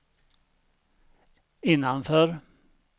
innanför